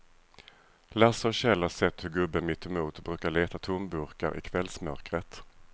Lasse och Kjell har sett hur gubben mittemot brukar leta tomburkar i kvällsmörkret.